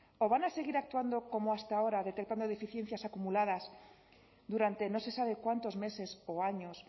o van a seguir actuando como hasta ahora detectado deficiencias acumuladas durante no se sabe cuántos meses o años